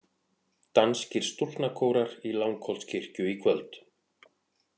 Danskir stúlknakórar í Langholtskirkju í kvöld